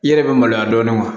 I yɛrɛ bɛ maloya dɔɔnin wa